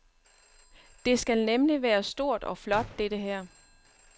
Det skal nemlig være stort og flot dette her.